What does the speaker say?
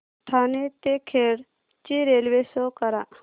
ठाणे ते खेड ची railway show करा